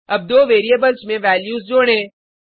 अब दो वेरिएबल्स में वैल्यूज जोडें